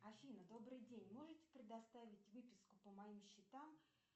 афина добрый день можете предоставить выписку по моим счетам